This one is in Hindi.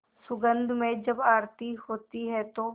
सुगंध में जब आरती होती है तो